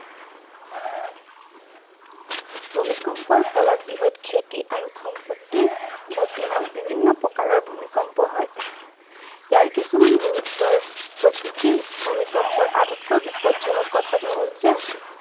ভূমিকম্পকৰ ফলত বৃহৎ ক্ষতি আৰু সম্পত্তিৰ ক্ষতি হয়। বিভিন্ন প্ৰকাৰৰ ভূমিকম্প হয় ইয়াৰ কিছুমান গুৰুত্বৰ প্ৰকৃতিৰ ভূমিকম্পৰ আটাতকৈ বিপদজনক কথাটো হল যে